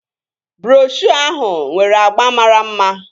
Broshuo ahụ nwere agba mara mma